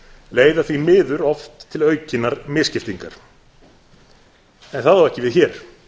leiða því miður oft til aukinnar misskiptingar en það á ekki við hér